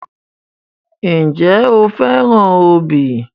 Ǹjẹ́ o fẹ́ràn obì?